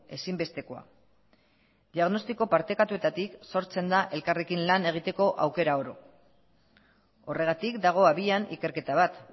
ezinbestekoa diagnostiko partekatuetatik sortzen da elkarrekin lan egiteko aukera oro horregatik dago abian ikerketa bat